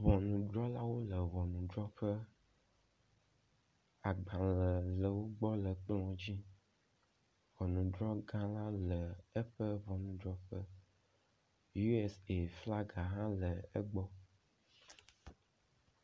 Ŋɔnudrɔ̃lawo le ŋɔnufrɔƒe, agbalẽ le wo gbɔ le kplɔ dzi. Ŋɔnudrɔ̃lagã la le eƒe ŋɔnudrɔ̃ƒe. USA glaga hã le egbɔ.